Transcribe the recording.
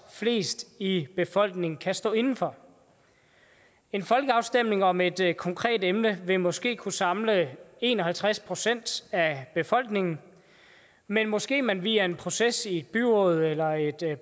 flest i befolkningen kan stå inde for en folkeafstemning om et konkret emne vil måske kunne samle en og halvtreds procent af befolkningen men måske kunne man via en proces i et byråd eller